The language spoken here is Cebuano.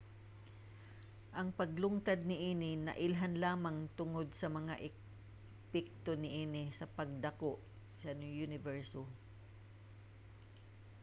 ang paglungtad niini nailhan lamang tungod sa mga epekto niini sa pagdako sa uniberso